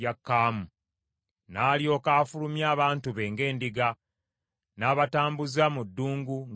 N’alyoka afulumya abantu be ng’endiga, n’abatambuza mu ddungu ng’ekisibo.